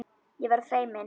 Ég verð feimin.